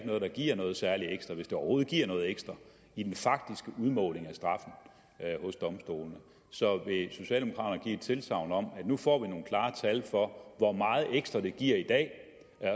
noget det giver noget særlig ekstra hvis det overhovedet giver noget ekstra i den faktiske udmåling af straffen hos domstolene så vil socialdemokraterne give et tilsagn om at nu får vi nogle klare tal for hvor meget ekstra det giver i dag